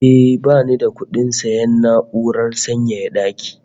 Eh, bani da kudin sayan na'urar sanyaya daki